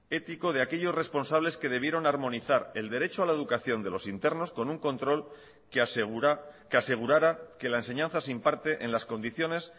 ético de aquellos responsables que debieron armonizar el derecho a la educación de los internos con un control que asegura que asegurara que la enseñanza se imparte en las condiciones